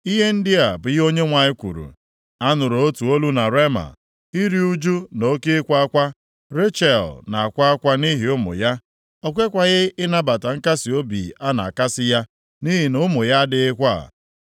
Ihe ndị a bụ ihe Onyenwe anyị kwuru, “A nụrụ otu olu na Rema, iru ụjụ na oke ịkwa akwa. Rechel na-akwa akwa nʼihi ụmụ ya, o kwekwaghị ịnabata nkasiobi a na-akasị ya, nʼihi na ụmụ ya adịghịkwa.”